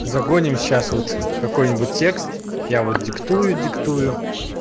загоним сейчас вот какой-нибудь текст я диктую диктую